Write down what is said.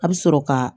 A bɛ sɔrɔ ka